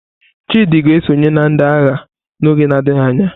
Chidi ga-esonye na ndị agha n'oge adịghị anya.